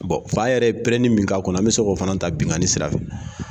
fa yɛrɛ ye pɛrɛnni min k'a kun na an bɛ s'o fana ta binganni sira fɛ.